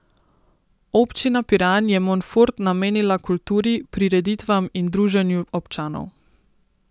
Občina Piran je Monfort namenila kulturi, prireditvam in druženju občanov.